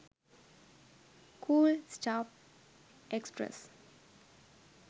cool stuff express